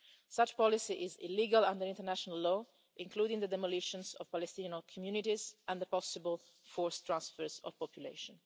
Such a policy is illegal under international law, including the demolitions of Palestinian communities and the possible forced transfers of population.